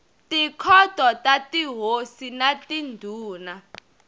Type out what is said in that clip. tikhoto ta tihosi na tindhuna